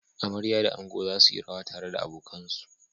Amarya da ango za su yi rawa tare da abokansu.